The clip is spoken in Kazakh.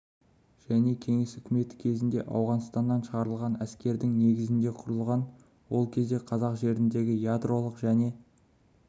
және кеңес үкіметі кезінде ауғанстаннан шығарылған әскердің негізінде құрылған ол кезде қазақ жеріндегі ядролық және